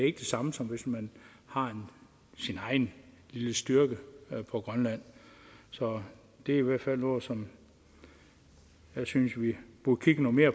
ikke det samme som hvis man har sin egen lille styrke på grønland så det er i hvert fald noget som jeg synes vi burde kigge noget mere